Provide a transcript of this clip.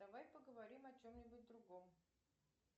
давай поговорим о чем нибудь другом